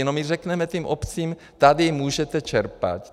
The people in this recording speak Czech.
No, my řekneme těm obcím: Ttady můžete čerpat.